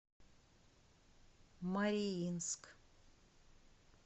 мариинск